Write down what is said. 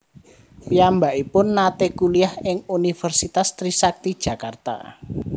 Piyambakipun nate kuliah ing Universitas Trisakti Jakarta